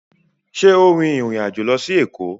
ṣe o rìn ìrin àjọ ló sì Eko?